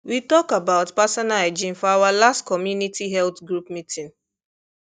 we talk about personal hygiene for our last community health group meeting